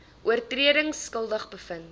oortredings skuldig bevind